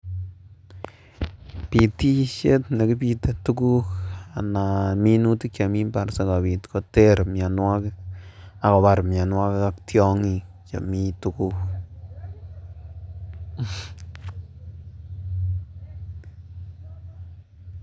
Pitisiek nekipitee tuguk anan minutik chemii impar sikobit koter mionwokik ak kobar mionwekik ak tyongik chemiten tuguk